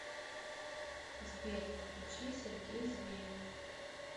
сбер включи сергей зверев